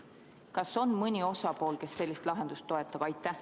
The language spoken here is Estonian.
Kas on mõni osaline, kes sellist lahendust toetab?